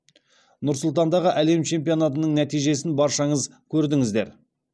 нұр сұлтандағы әлем чемпионатының нәтижесін баршаңыз көрдіңіздер